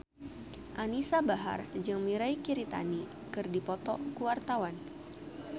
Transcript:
Anisa Bahar jeung Mirei Kiritani keur dipoto ku wartawan